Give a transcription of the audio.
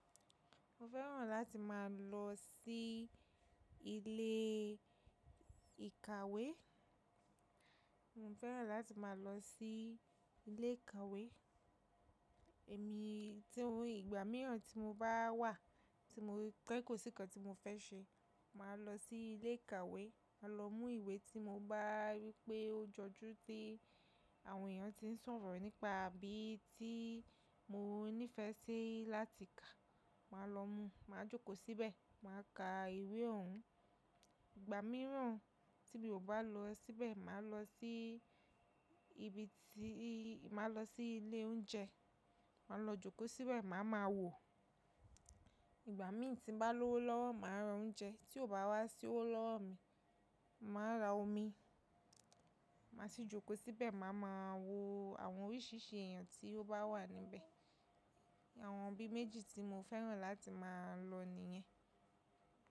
Mo fẹ́ràn láti máa lọ sí ilé ìkàwé. Mo fẹ́ràn láti máa lọ sí ilé ìkàwé. Èmi tí ori ìgbà mìíràn tí mo bá wà, tí mo kọ́ kò sí nnkan tí mo fẹ́ ṣe, màá lọ sí ilé ìkàwé, máa lọ mú ìwé tí mo bá rí pé ó jọju tí àwọn èèyàn tí ń sọ̀rọ̀ nípa bí tí mo ní ìfẹ́ sí láti kà, màá lọ mú, màá jókòó síbẹ̀, màá ka ìwé òun. Ìgbà mìíràn tí mi ò bá lọ síbẹ̀, màá lọ sí ibi tí màá lọ sí ilé oúnjẹ, màá lọ jókòó síbẹ̀, màá ma wò. Ìgbà mí tí bá lọ́wọ́ lọ́wọ́ màá ra oúnjẹ tí ò bá wá sí ó lọ́wọ́ mi, màá ra omi, màá sì jókòó síbẹ̀, màá ma wo àwọn oríṣìíríṣìí èèyàn tí ó bá wà níbẹ̀. Àwọn ibi méjì tí mo fẹ́ràn láti máa lọ nìyẹn.